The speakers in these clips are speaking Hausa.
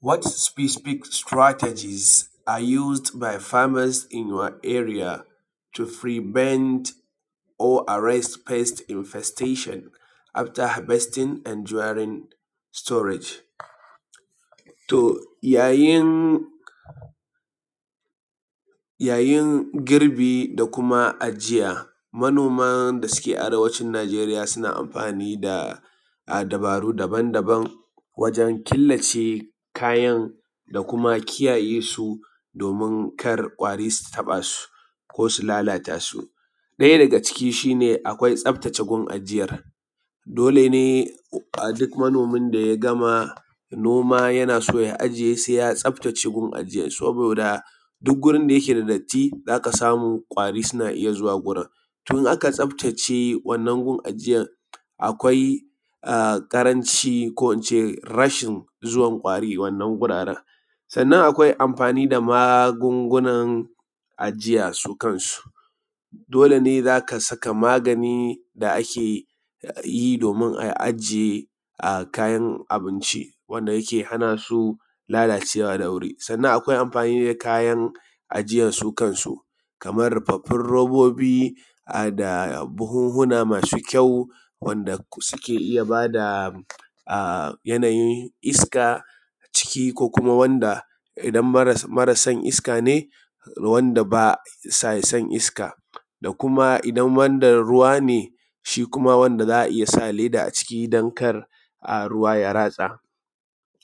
What specific strategies are used by a farmers in your area to prevent or arrest pest infestation after harvesting and during storage? To yayin girbi da kuma ajiya manoman da suke arewacin Najeriya suna amfani da babaru daban daban wajan killace kayan da kuma kiyaye su domin kar ƙwari su taɓa su, ko su lallata su. Ɗaya daga cikin shi ne akwai tsaftace gun ajiyar. Dole ne duk manomin da ya gama noma yana so ya ajiye sai ya tsaftace gun ajiyan, saboda duk gurin da yake da datti za ka samu ƙwari suna iya zuwa gurin. To in aka tsaftace wannan gun ajiyar akwai ƙaranci ko ince rashin zuwan ƙwari wannan wuraren. Kuma akwai amfani da magungunan ajiya su kansu, dole ne zaka saka magani da ake yi domin a ajiye kayan abinci domin ya hanasu lalacewa da wuri. Sannan akwai amfani da kayan ajiya su kansu, kamar rufaffun robobi, da buhuhuna masu kyau wanda suke iya ba da yanayin iska a ciki ko kuma wanda idan mara son iska ne wanda basa son iska, da kuma idan wanda ruwa ne shi kuma wanda za a iya sa leda a ciki don kar ruwa ya ratsa.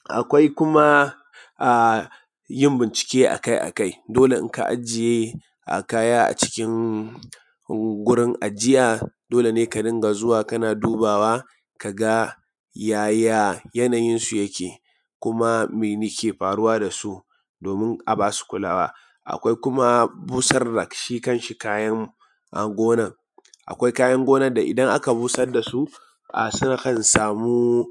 Akwai kuma yin bincike akai akai. Dole in ka ajiye kaya a cikin gurin ajiya dole ne ka ringa zuwa kana dubawa kaga yaya yanayin su yake, kuma meke faruwa da su domin a basu kulawa. Akwai kuma busar da shi kanshi kayan gonan. Akwai kayan gonan da idan aka busar dasu sukan samu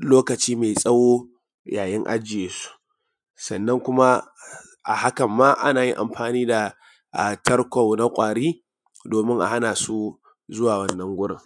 lokaci mai tsawo yayin ajiye su, sannan kuma a hakan ma ana yin amfani da tarko na ƙwari domin a hanasu zuwa wannan gurin.